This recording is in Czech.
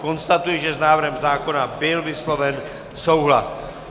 Konstatuji, že s návrhem zákona byl vysloven souhlas.